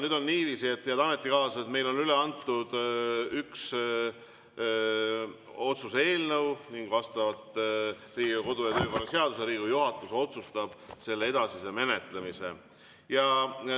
Nüüd on niiviisi, head ametikaaslased, et meil on üle antud üks otsuse eelnõu ning vastavalt Riigikogu kodu‑ ja töökorra seadusele Riigikogu juhatus otsustab selle edasise menetlemise.